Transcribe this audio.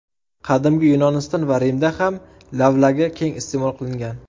Qadimgi Yunoniston va Rimda ham lavlagi keng iste’mol qilingan.